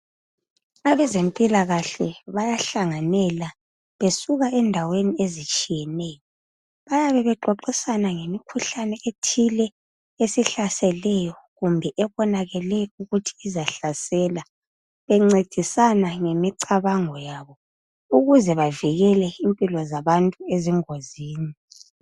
Abezempilakahle bayahlanganela besuka endaweni ezihlukeneyo bayabe bexoxisana ngemikhuhlane ethile esihlaselayo kumbe ebonakale ukuthi izahlasela bencedisana ngemicabango yabo ukuze bavikele impilo zabantu ezingozini.